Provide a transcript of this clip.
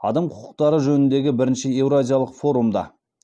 адам құқықтары жөніндегі бірінші еуразиялық форумда